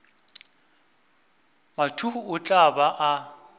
mathuhu o tla ba a